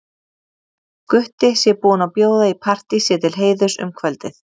Gutti sé búinn að bjóða í partí sér til heiðurs um kvöldið.